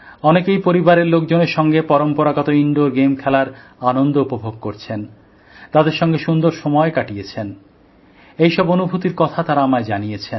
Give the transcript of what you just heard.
অনেকেই পরিবারের লোকজনের সঙ্গে পম্পরাগত ইনডোর গেম খেলার আনন্দ উপভোগ করেছেন তাদের সঙ্গে সুন্দর সময় কাটিয়েছেন এইসব অনুভূতির কথা তারা আমায় জানিয়েছেন